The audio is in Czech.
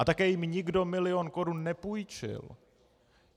A také jim nikdo milion korun nepůjčil.